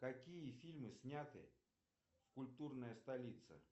какие фильмы сняты в культурная столица